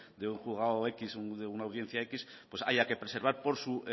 de un juzgado equis de una audiencia equis pues haya que preservar por su